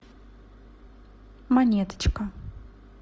монеточка